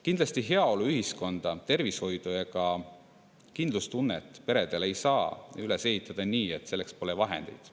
Kindlasti ei saa heaoluühiskonda, tervishoidu ega kindlustunnet peredele üles ehitada nii, et selleks pole vahendeid.